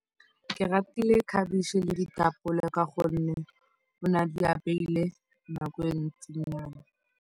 Ke ratile khabetšhe le ditapole ka gonne o ne a di apeile nako e e ntsinyana.